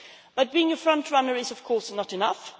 But being a frontrunner is, of course, not enough.